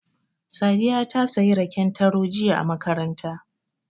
Sadiya ta sayi raken taro jiya a makaranta.